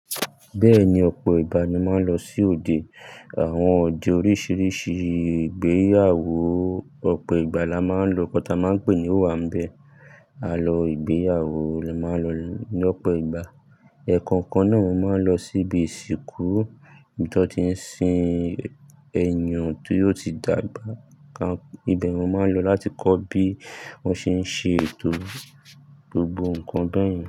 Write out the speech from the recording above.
Bẹ́ẹ̀ni, ọ̀pọ̀ ìgbà ni màá ń lọ sí òde. Àwọn òde oríṣìíríṣìí ìgbéyàwó, ọ̀pọ̀ ìgbà la máa ń lọ. Kọ́ ta máa ń pè é ní owànbẹ́. A lọ ìgbéyàwó la máa ń lọ lọ́pọ̀ ìgbà. Ẹ̀ẹ̀kan kan náà mo máa ń lọ sí ibi ìsìnkú, ibi tó ti ń sin ẹniyan tió ti dàgbà. Íbẹ̀ mo máa ń lọ láti kọ́ bí wọ́n ṣe ń ṣe ètò gbogbo nǹkan bẹ́ẹ̀ yẹn.